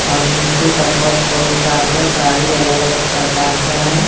और नीचे का फ़र्श बहुत साफ है गाड़ी अलग-अलग प्रकार का है।